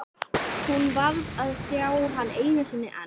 Hún varð að sjá hann einu sinni enn.